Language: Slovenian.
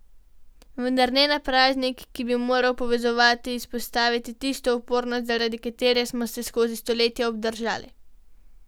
Vendar ne na praznik, ki bi moral povezovati, izpostaviti tisto upornost, zaradi katere smo se skozi stoletja obdržali.